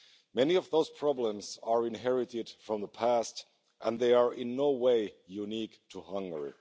Many of those problems are inherited from the past, and they are in no way unique to Hungary.